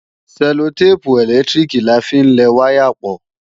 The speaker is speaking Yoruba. Sẹllotépù ẹ̀lẹ́tíríkì la fi ń lẹ wáyà pọ̀